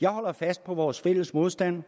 jeg holder fast på vores fælles modstand